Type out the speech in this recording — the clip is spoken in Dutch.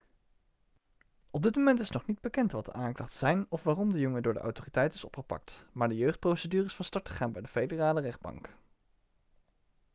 op dit moment is nog niet bekend wat de aanklachten zijn of waarom de jongen door de autoriteiten is opgepakt maar de jeugdprocedure is van start gegaan bij de federale rechtbank